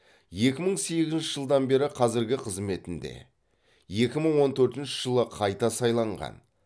екә мың сегізінші жылдан бері қазіргі қызметінде екі мың он төртінші жылы қайта сайланған